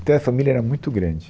Então a família era muito grande.